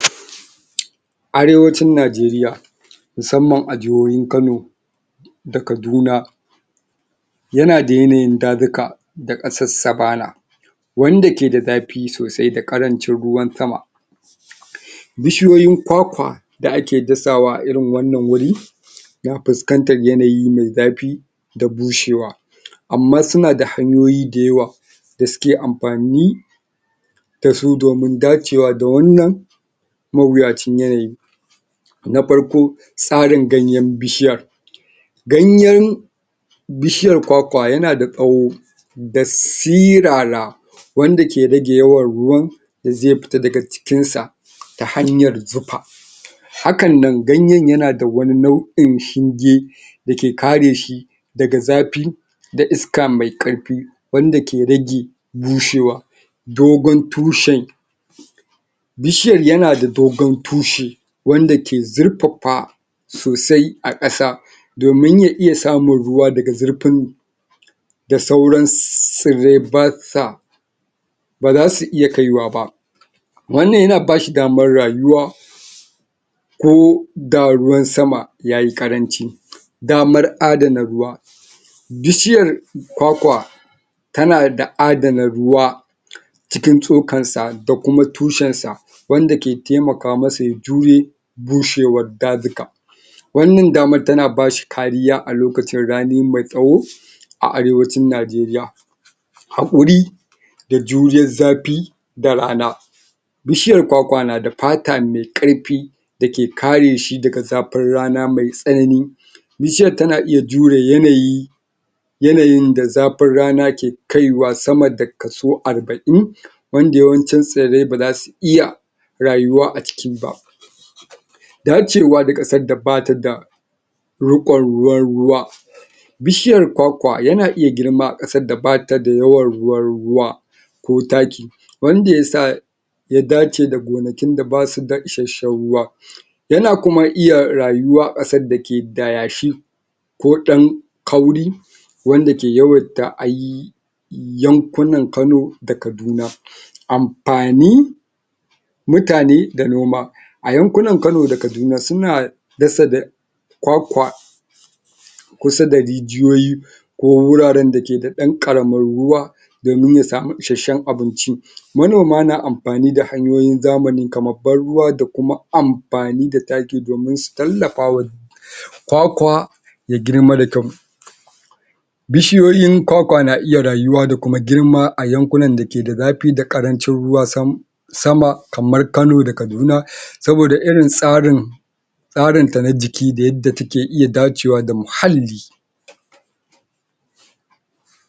Arewacin Najeriya musamman a jihohin Kano da Kaduna yana da yanayin dazuka da ƙasar Savana wanda ke da zafi sosai da ƙarancin ruwan sama bishiyoyin kwakwa da ake dasawa a irin wannan wuri dan fuskantar yanayi me zafi da bushewa amma suna da hanyoyi da yawa da suke amfani da su domin dacewa da wannan mawuyacin yanayi na farko tsarin ganyen bishiyan ganyen bishiyar kwakwa yana da tsawo da sirara wanda ke rage yawan ruwan da zai fita daga cikin sa ta hanyar zufa hakan nan ganyen yana da wani nau'in shinge da ke kare shi daga zafi da iska me ƙarfi wanda ke rage bushewa dogon tushen bishiyar yana da dogon tushe wanda ke zurfafa sosai a ƙasa domin ya iya samun ruwa daga zurfin da sauran tsirrai basa ba zasu iya kaiwa ba wannan yana ba shi damar rayuwa ko da ruwan sama yayi ƙaranci gamar adana ruwa bishiyar kwakwa tana da adana ruwa cikin tsokar sa da kuma tushen sa wanda ke temaka masa ya jure bushewar dazuka wannan damar tana ba shi kariya a lokacin rani me tsawo a Arewacin Najeriya haƙuri da juriyar zafi da rana bishiyar kwakwa na da fata me ƙarfi da ke kare shi daga zafin rana me tsanani bishiyar tana iya jure yanayi yanayin da zafin rana ke kaiwa sama da kaso arba'in wanda yawancin tsirrai ba zasu iya rayuwa a ciki ba da cewa ƙasar da bata da riƙon ruwa ruwa bishiyar kwakwa yana iya girma a ƙasar da bata da yawan ruwan ruwa ko taki wanda yasa ya dace da gonakin da basu da isashen ruwa yana kuma iya rayuwa a ƙasar da ke da yashi ko dan kauri wanda ke yawaita a yi yankunan Kano da Kaduna amfani mutane da noma a yankunan Kano da Kaduna suna dasa da kwakwa kusa da rijiyoyi ko wuraren da ke da ɗan ƙaramin ruwa domin ya samu isashen abinci manoma na amfani da hanyoyin zamani kaman ban ruwa da kuma amfani da taki domin su tallafa wa kwakwa ya girma da kyau bishiyoyin kwakwa na iya rayuwa da kuma girma a yankunan da ke da zafi da ƙarancin ruwa sam sama kamar Kano da Kaduna saboda irin tsarin tsarin ta na jiki da yadda take iya dacewa da muhalli.